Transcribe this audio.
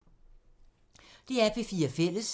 DR P4 Fælles